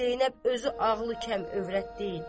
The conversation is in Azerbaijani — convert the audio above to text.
Zeynəb özü ağlı kəm övrət deyil.